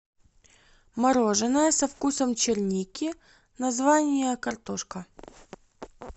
мороженое со вкусом черники название картошка